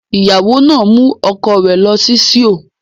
The wife took her husband to Seoul